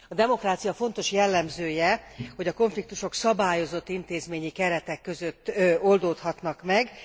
A demokrácia fontos jellemzője, hogy a konfliktusok szabályozott intézményi keretek között oldódhatnak meg.